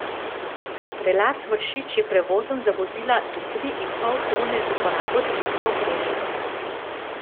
Prelaz Vršič je prevozen za vozila do tri in pol tone z uporabo zimske opreme.